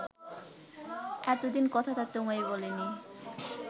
এতদিন কথাটা তোমায় বলিনি